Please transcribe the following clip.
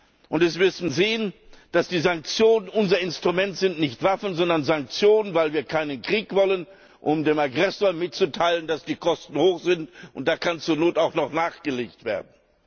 Wir müssen sehen, dass die Sanktionen unser Instrument sind nicht Waffen, sondern Sanktionen, weil wir keinen Krieg wollen um dem Aggressor mitzuteilen, dass die Kosten hoch sind, und da kann zur Not auch noch nachgelegt werden.